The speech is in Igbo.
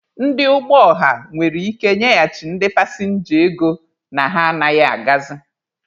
Ndị ụgbọ ọha nwere ike nyeghachi ndị pasịnja ego na ha anaghị agazị.